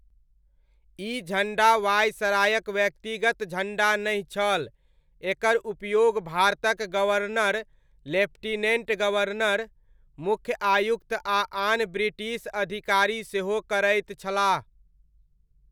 ई झण्डा वायसरायक व्यक्तिगत झण्डा नहि छल, एकर उपयोग भारतक गवर्नर, लेफ्टिनेण्ट गवर्नर, मुख्य आयुक्त आ आन ब्रिटिश अधिकारी सेहो करैत छलाह।